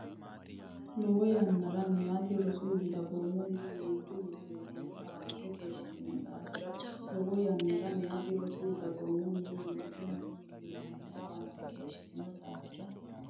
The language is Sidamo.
Lowo yannara meyaati rosu, dagoomunna miinju millimmonni hawante keeshshitino daafira Lowo yannara meyaati rosu, dagoomunna miinju millimmonni hawante keeshshitino daafira.